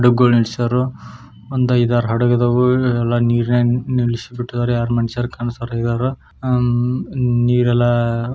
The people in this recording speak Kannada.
ಒಂದು ಐದಾರು ಹಡಗು ಇದ್ದಾವೆ ಎಲ್ಲ ನೀರನಲ್ಲಿ ನಿಲ್ಲಿಸಿ ಬಿಟ್ಟಿದ್ದಾರೆ ಯಾರು ಮನುಷ್ರ ಕಾಣಿಸಲಾ--